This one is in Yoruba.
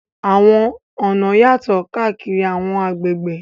Àwọn ọ̀nà yàtọ̀ káàkiri àwọn agbègbè.